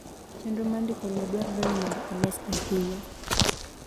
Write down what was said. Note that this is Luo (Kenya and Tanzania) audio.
chenro mar ndiko lowo dwarore ni mondo olos ahinya